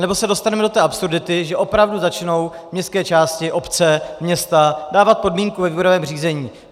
Anebo se dostaneme do té absurdity, že opravdu začnou městské části, obce, města dávat podmínku ve výběrovém řízení.